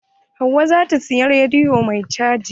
Hauwa zata siyi rediyo mai caji.